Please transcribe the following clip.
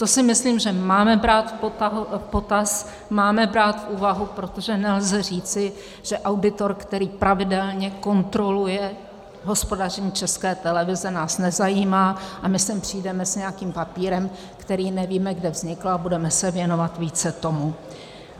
To si myslím, že máme brát v potaz, máme brát v úvahu, protože nelze říci, že auditor, který pravidelně kontroluje hospodaření České televize, nás nezajímá, a my sem přijdeme s nějakým papírem, který nevíme, kde vznikl, a budeme se věnovat více tomu.